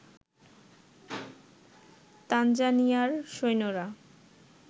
তানজানিয়ার সৈন্যরা